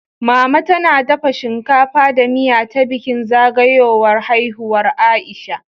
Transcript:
Mama tana dafa shinkafa da miya ta bikin zagayowar haihuwar Aisha